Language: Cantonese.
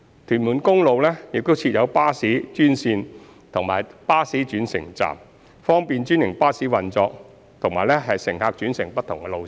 屯門公路亦設有巴士專線及巴士轉乘站，方便專營巴士運作及乘客轉乘不同路線。